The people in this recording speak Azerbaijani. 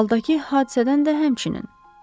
Baldakı hadisədən də həmçinin.